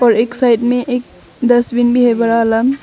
और एक साइड में एक डस्टबिन भी है बड़ा वाला।